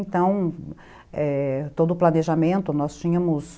Então, é, todo o planejamento, nós tínhamos...